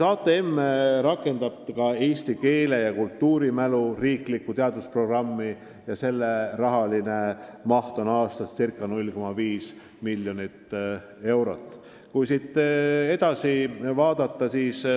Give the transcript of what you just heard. HTM rakendab ka riiklikku teadusprogrammi "Eesti keel ja kultuurimälu", mille maht aastas on ca 0,5 miljonit eurot.